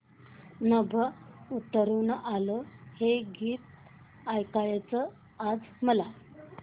नभं उतरू आलं हे गीत ऐकायचंय आज मला